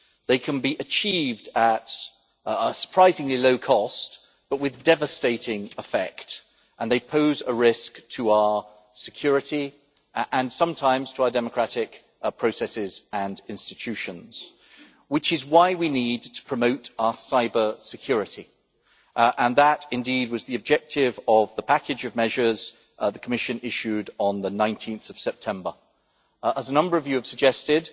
They can be achieved at a surprisingly low cost, but with devastating effect, and they pose a risk to our security and sometimes to our democratic processes and institutions. Which is why we need to promote our cybersecurity, and that indeed was the objective of the package of measures the Commission issued on 19 September. As a number of you have suggested,